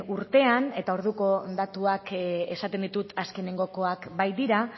urtean eta orduko datuak esaten ditut azkenengoak baitira